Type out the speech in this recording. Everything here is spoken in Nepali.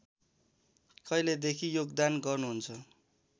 कहिलेदेखि योगदान गर्नुहुन्छ